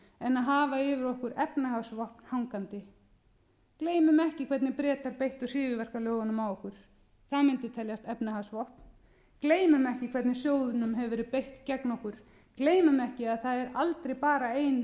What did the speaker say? en að hafa yfir okkur efnahagsvopn hangandi gleymum ekki hvernig bretar beittu hryðjuverkalögunum á okkur það mundi teljast efnahagsvopn gleymum ekki hvernig sjóðnum hefur verið beitt gegn okkur gleymum ekki að það er aldrei bara ein